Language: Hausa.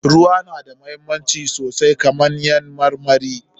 Ruwa na da muhimmanci sosai kamar dai ƴaƴan marmari.